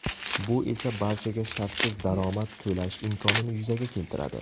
Bu esa barchaga shartsiz daromad to‘lash imkonini yuzaga keltiradi.